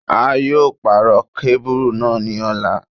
A yóò pàrọ̀ kábùrù náà ní ọ̀la.